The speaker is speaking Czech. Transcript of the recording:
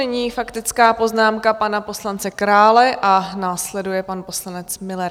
Nyní faktická poznámka pana poslance Krále a následuje pan poslanec Müller.